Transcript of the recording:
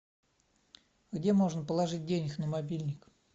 где можно положить денег на мобильник